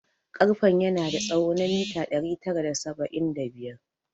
Karfen yana da tsawo na mita ɗari tara da saba'in da biyar